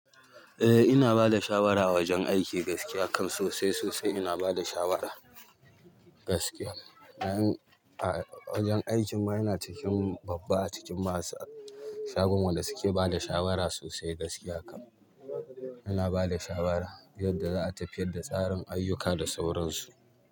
Eh ina bada shawara wajen aiki gaskiya kam sosai sosai ina bada shawara gaskiya. Wajen aikin ma ina cikin babba a cikin masu shagon wanda suke bada shawara sosai gaskiya kam. Ina bada shawara yadda za a tafiyar da tsarin ayyuka da sauransu.